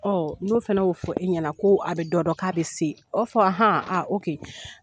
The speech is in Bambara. n'o fɛnɛ b'o fɔ e ɲɛna ko a bɛ dɔ dɔn k'a bɛ se, a b'a fɔ